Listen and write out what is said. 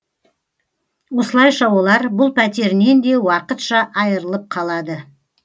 осылайша олар бұл пәтерінен де уақытша айырылып қалады